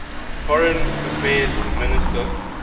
foreign affairs minister